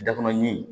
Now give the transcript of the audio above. Dakɔrɔnin